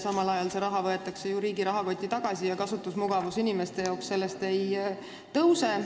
Samal ajal võetakse see raha ju riigi rahakotti tagasi ja kasutusmugavus inimestel sellest ei parane.